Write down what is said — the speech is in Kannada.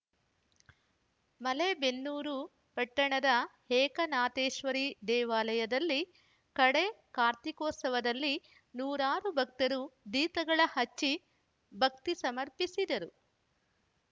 ಮಲೇಬೆನ್ನೂರು ಪಟ್ಟಣದ ಏಕನಾಥೇಶ್ವರಿ ದೇವಾಲಯದಲ್ಲಿ ಕಡೇ ಕಾರ್ತೀಕೋತ್ಸವದಲ್ಲಿ ನೂರಾರು ಭಕ್ತರು ದೀಪಗಳ ಹಚ್ಚಿ ಭಕ್ತಿ ಸಮರ್ಪಿಸಿದರು